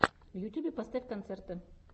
в ютьюбе поставь концерты